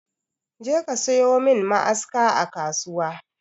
Je ka sayo min ma'aska a kasuwa!